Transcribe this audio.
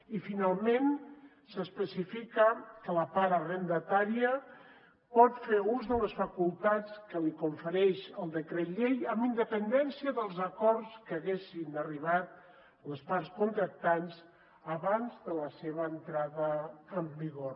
i finalment s’especifica que la part arrendatària pot fer ús de les facultats que li confereix el decret llei amb independència dels acords a què haguessin arribat les parts contractants abans de la seva entrada en vigor